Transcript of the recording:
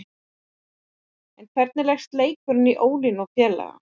En hvernig leggst leikurinn í Ólínu og félaga?